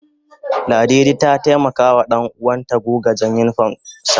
Ladidi ta taimaka wa danuwan ta guga jan unipom sa